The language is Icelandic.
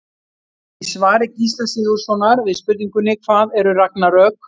Í svari Gísla Sigurðssonar við spurningunni Hvað eru ragnarök?